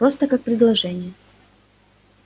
просто как предложение